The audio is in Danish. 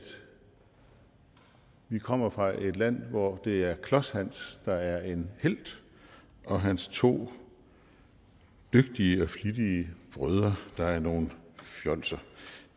vi kommer fra et land hvor det er klods hans der er en helt og hans to dygtige og flittige brødre der er nogle fjolser